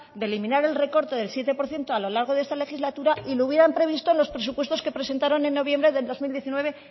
eliminar el recorte del siete por ciento a lo largo de esta legislatura y lo hubieran previsto en los presupuestos que presentaron en noviembre del dos mil dieciocho